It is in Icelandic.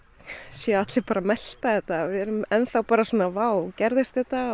séu allir bara að melta þetta við erum enn bara vá gerðist þetta